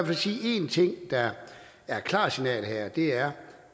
fald sige en ting der er et klart signal om her og det er